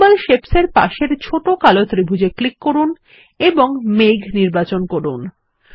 symbol Shapes এর পাশের ছোট কালো ত্রিভুজ এ ক্লিক করুন এবং মেঘ নির্বাচন করুন